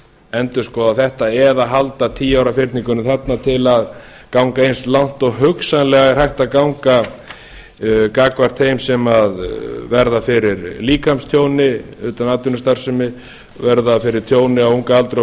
endurskoða þetta eða halda tíu ára fyrningunni þarna til að ganga eins langt og hugsanlega er hægt að ganga gagnvart þeim sem verða fyrir líkamstjóni utan atvinnustarfsemi verða fyrir tjóni á unga aldri og